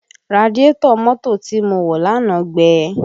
Radiétọ̀ mọ́tò tí mo wọ̀ lánàá gbẹ